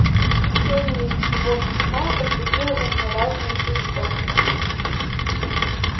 чтение сего письма возбудило во мне разные чувствования